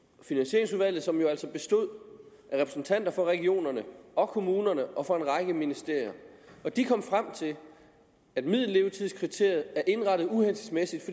finansieringsudvalget som jo altså bestod af repræsentanter for regionerne og kommunerne og for en række ministerier de kom frem til at middellevetidskriteriet er indrettet uhensigtsmæssigt